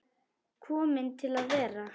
Komin til að vera?